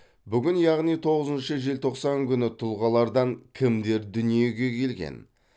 бүгін яғни тоғызыншы желтоқсан күні тұлғалардан кімдер дүниеге келген